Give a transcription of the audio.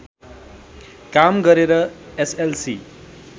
काम गरेर एसएलसी